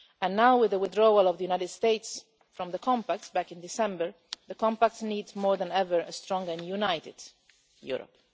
Now with the withdrawal of the United States from the Compacts back in December, the Compacts need more than ever a strong and united Europe.